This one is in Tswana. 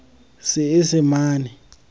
seesemane